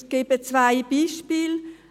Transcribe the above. Ich nenne zwei Beispiele.